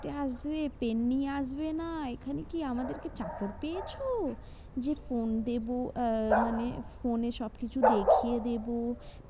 আসবে pen নিয়ে আসবে না এখানে কি আমাদের কি চাকর পেয়েছো? যে phone দেব আহ মানে phone এ সবকিছু দেখিয়ে দেব